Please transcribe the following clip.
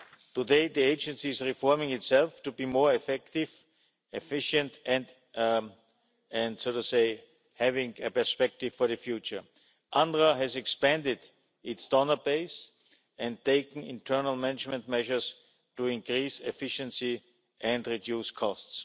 Today, the Agency is reforming itself to be more effective, efficient and to have a perspective for the future. UNRWA has expanded its donor base and taken internal management measures to increase efficiency and reduce costs.